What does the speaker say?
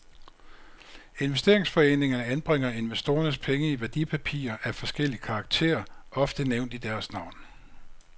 Investeringsforeningerne anbringer investorernes penge i værdipapirer af forskellig karakter, ofte nævnt i deres navn.